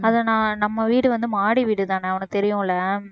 அதை நான் நம்ம வீடு வந்து மாடி வீடு தானே உனக்கு தெரியும் இல்லை